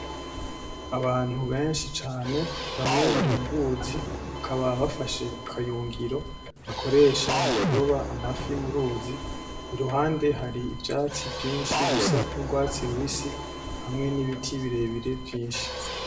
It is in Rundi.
Abantu benshi cane bamwe bari muruzi bakaba bafashe akayungiro bakoresha mu kuroba amafi muruzi, iruhande hari ivyatsi vyinshi bisa nk'urwatsi rubisi hamwe n'ibiti birebire vyinshi.